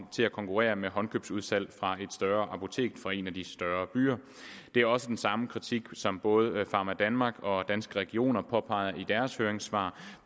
til at konkurrere med håndkøbsudsalg fra et større apotek fra en af de større byer det er også den samme kritik som både pharmadanmark og danske regioner påpeger i deres høringssvar